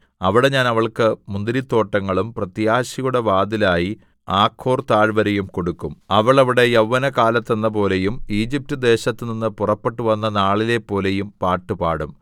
അവിടെ ഞാൻ അവൾക്ക് മുന്തിരിത്തോട്ടങ്ങളും പ്രത്യാശയുടെ വാതിലായി ആഖോർ താഴ്‌വരയും കൊടുക്കും അവൾ അവിടെ യൗവന കാലത്തെന്നപോലെയും ഈജിപ്റ്റ്ദേശത്തുനിന്ന് പുറപ്പെട്ടുവന്ന നാളിലെപ്പോലെയും പാട്ട് പാടും